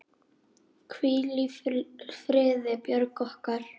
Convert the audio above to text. Hvíl í friði, Björg okkar.